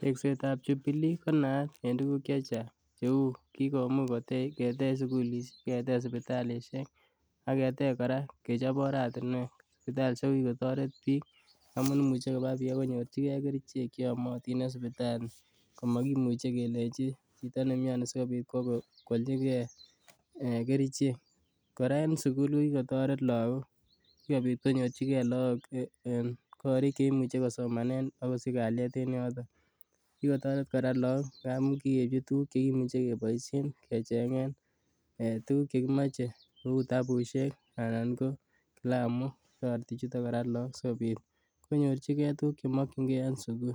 Teksetab jubilee konaat en tuguk chechang kouu kikomuch kotech sugulisiek, kotech sibitalishek ak ketech kora, sibitalishek kokitoret bik amuun imuche koba biik akonyorchige kerichek cheamotin en sipitali. Amakimuche kelenji chito nemiani asipokoalichike en eh kerichek, kora en sugul kokikotoret lakok siko bit konyor chike lakok korik chekisomanen ak kaliet en yoton. Kikotoret kora lakok ngamun kikeibchi tukukuk cheboisoen kecheng'en tukug chekimoche, kouu kitabusiek anan ko kilamok, toreti bichoten lakok asikobit konyor chike tukuk chekimoe en sugul.